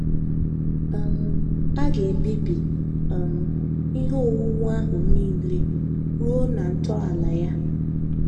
um A ga - ebibi um ihe owuwu ahụ nile, ruo na ntọala ya.